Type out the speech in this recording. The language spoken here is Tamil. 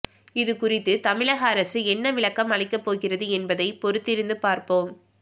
இதுகுறித்து தமிழக அரசு என்ன விளக்கம் அளிக்க போகிறது என்பதை பொறுத்திருந்து பார்ப்போம்